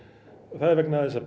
það er vegna þess að